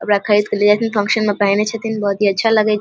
अब रखे इसके लिए कोई फंक्शन में पहने हथीन बहुत ही अच्छा लगे छै ।